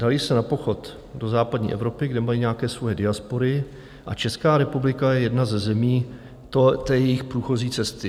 Dali se na pochod do západní Evropy, kde mají nějaké svoje diaspory, a Česká republika je jedna ze zemí jejich průchozí cesty.